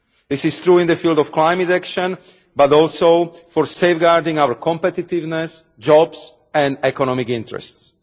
This is true in the field of climate action but also for safeguarding our competitiveness, jobs and economic interests.